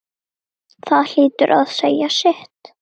Það hlýtur að segja sitt.